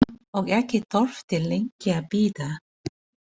Og ekki þurfti lengi að bíða.